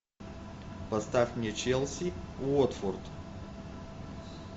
поставь мне челси уотфорд